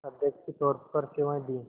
अध्यक्ष के तौर पर सेवाएं दीं